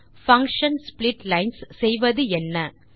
function splitlines செய்வது என்ன